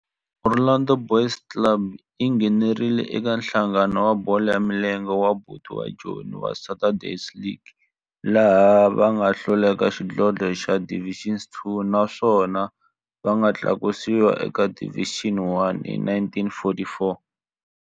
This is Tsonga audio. Orlando Boys yi nghenelerile eka Nhlangano wa Bolo ya Milenge wa Bantu wa Joni wa Saturday League, laha va nga hlula eka xidlodlo xa Division Two naswona va nga tlakusiwa eka Division One hi 1944.